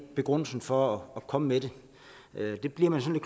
begrundelsen for at komme med det det bliver man sådan